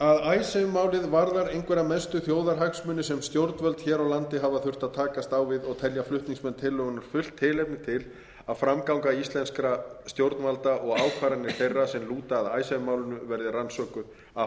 að icesave málið varðar einhverja mestu þjóðarhagsmuni sem stjórnvöld hér á landi hafa þurft að takast á við og telja flutningsmenn tillögunnar fullt tilefni til að framganga íslenskra stjórnvalda og ákvarðanir þeirra sem lúta að icesave málinu verði rannsökuð af